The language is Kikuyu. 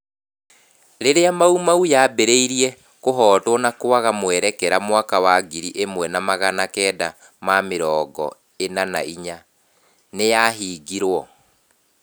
Rĩrĩa mau mau yaambĩrĩirie kũhootwo na kuaga mwerekea mwaka wa ngiri imwe na magana kenda ma mĩrongo ĩna na inya, nĩ yahingirũo.